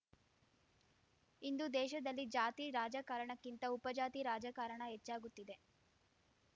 ಇಂದು ದೇಶದಲ್ಲಿ ಜಾತಿ ರಾಜಕಾರಣಕ್ಕಿಂತ ಉಪಜಾತಿ ರಾಜಕಾರಣ ಹೆಚ್ಚಾಗುತ್ತಿದೆ